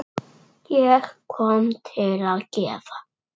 Ég kom til að gefa.